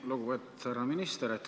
Lugupeetud härra minister!